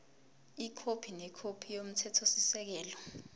ikhophi nekhophi yomthethosisekelo